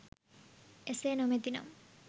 එසේ නොමැති නම්